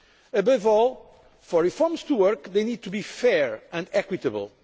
Above all, for reforms to work, they need to be fair and equitable.